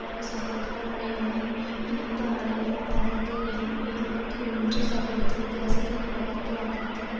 ஆறு சகோதர ஆலையான இணைப்பு ஆலையும் ஒப்பந்தத்தை எண்எண்பத்தி ஒன்று சதவிகித வித்தியாசத்தில் நிராகரித்து வாக்களித்தது